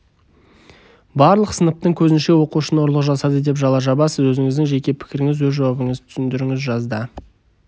барлық сыныптың көзінше оқушыны ұрлық жасады деп жала жабасыз өзініздің жеке пікіріңіз өз жауабыңызды түсіндіріңіз жазда